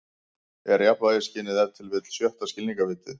Er jafnvægisskynið ef til vill sjötta skilningarvitið?